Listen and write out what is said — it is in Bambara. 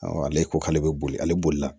ale ko k'ale bɛ boli ale bolila